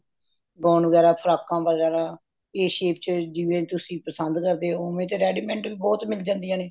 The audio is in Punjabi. gown ਵਗੈਰਾਹ frock A shape ਚ ਜਿਵੇਂ ਤੁਸੀ ਪਸੰਦ ਕਰਦੇ ਹੋ ਉਵੇਂ ਤੇ ready made ਬਹੁਤ ਮਿਲ ਜਾਂਦੀਆਂ ਨੇ